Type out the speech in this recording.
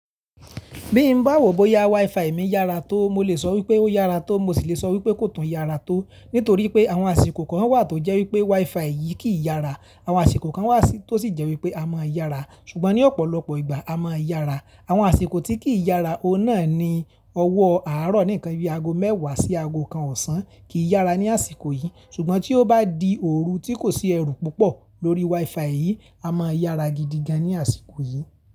Bí mo bá wò bó yá WiFi mi yára tó, mo lè sọ wípé ó yára tó, mo sì le sọ wípé kò tàn yára tó. Nítorí pé àwọn àsìkò kan wà tó jẹ́ wí pé WiFi yìí kì í yára, àwọn àsìkò kan wà tó sì jẹ́ wípé ó máa ń yára. Ṣùgbọ́n ní ọ̀pọ̀lọpọ̀ ìgbà ó máa yára. Àwọn àsìkò tí kì í yára, ohun náà ni ọwọ́ àárọ̀ nìkan, bí i ago mẹ́wàá sí ago kan ọ̀sán kì í yára ní àsìkò yìí. Ṣùgbọ́n tí ó bá di òru tí kò sí ẹ̀rù púpọ̀ lórí WiFi yìí, a máa yára gidi gan ní àsìkò yìí.